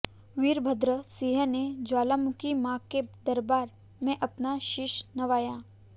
वीरभद्र सिंह ने ज्वालामुखी मां के दरबार में अपना शीश नवाया